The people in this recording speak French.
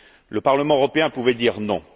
Le Parlement européen pouvait dire non.